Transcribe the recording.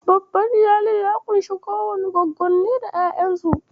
Babban Iyali ya ƙunshi Kuwannai, Gwaggonni da ƴaƴansu.